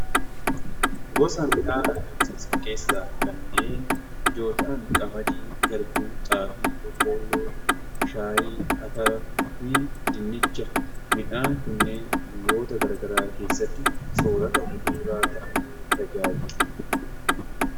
Gosa midhaan argamsiisaa keessaa kanneen ijoo ta'an qamadii, garbuu, xaafii, boqqolloo, shaayii, ataraa fi dinnicha. Midhaan kunneen biyyoota garaagaraa keessatti soorata bu'uuraa ta'aanii tajaajilu.